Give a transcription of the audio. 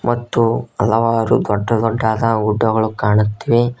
ಮತ್ತು ಹಲವಾರು ದೊಡ್ಡದೊಡ್ಡಾದ ಗುಡ್ಡಗಳು ಕಾಣುತ್ತಿವೆ.